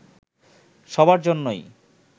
সবার জন্যই